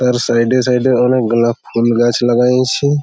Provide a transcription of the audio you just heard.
তার সাইড - এ সাইড - এ অনেক গোলাপ ফুল গাছ লাগাইছে।